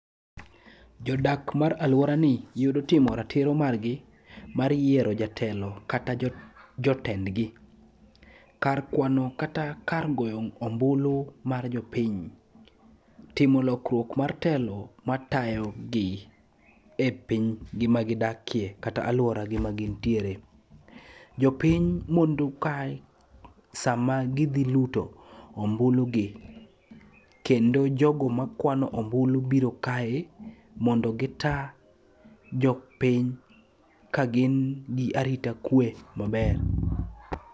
Jodak mar alworani yudo timo ratiro margi mar yiero jatelo kata jotendgi. Kar kwano kata kar goyo ombulu mar jopiny, timo lokruok mar telo matayogi e pinygi magidakie kata alworagi magintiere. Jopiny mondo kae sama gidhi luto ombulugi, kendo jogo makwano ombulu biro kae mondo gita jopiny kagin gi arita kwe maber.